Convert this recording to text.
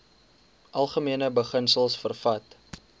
algemene beginsels vervat